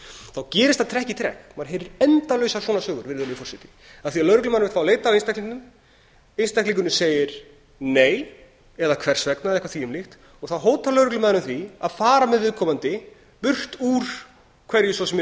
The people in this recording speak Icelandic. þá gerist það trekk í trekk maður heyrir endalausar svona sögur virðulegur forseti af því lögreglumaður vill fá að leita á einstaklingum einstaklingurinn segir nei eða hvers vegna eða eitthvað þvíumlíkt þá hótar lögreglumaðurinn því að fara með viðkomandi burt úr hverju svo sem er í